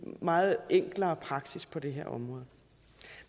meget enklere praksis på det her område